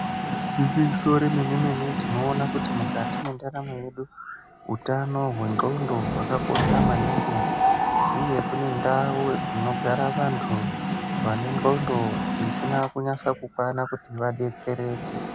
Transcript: Igwinyiso remene-mene tinoona kuti mukati mwendaramo yedu hutano hwendxondo hwakakosha maningi uye kune ndau dzinogara vantu vane ndxondo dzisina kunasa kukwana kuti vadetsereke.